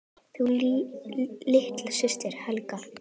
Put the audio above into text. Þín litla systir, Helga.